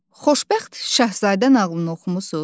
Xoşbəxt Şahzadə nağılını oxumusuz?